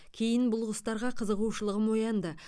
кейін бұл құстарға қызығушылығым оянды